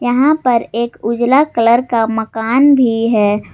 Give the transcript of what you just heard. यहां पर एक उजाला कलर का मकान भी है।